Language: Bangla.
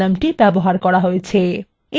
এবার প্রশ্নটি চালানো যাক